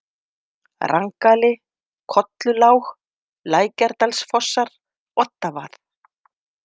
Rangali, Kollulág, Lækjardalsfossar, Oddavað